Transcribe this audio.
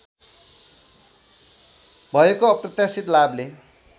भएको अप्रत्याशित लाभले